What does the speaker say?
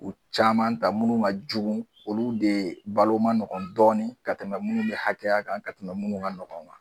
U caman ta munnu ka jugu olu de balo manɔgɔn dɔɔni ka tɛmɛ munnu bɛ hakɛya kan ka tɛmɛ munnu ka ɲɔgɔn kan.